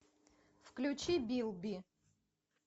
включи билби